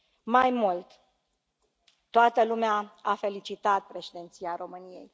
Mai mult, toată lumea a felicitat președinția României.